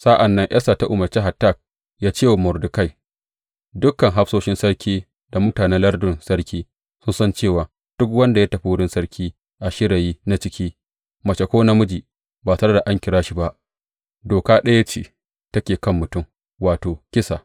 Sa’an nan Esta ta umarce Hatak yă ce wa Mordekai, Dukan hafsoshin sarki da mutanen lardunan sarki sun san cewa duk wanda ya tafi wurin sarki a shirayi na ciki, mace ko namiji, ba tare da an kira shi ba, doka ɗaya ce take kan mutum, wato, kisa.